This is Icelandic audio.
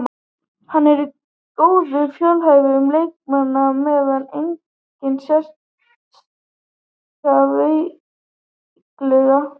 Hann er góður, fjölhæfur leikmaður með enga sérstaka veikleika.